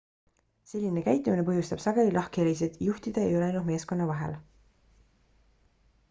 selline käitumine põhjustab sageli lahkhelisid juhtide ja ülejäänud meeskonna vahel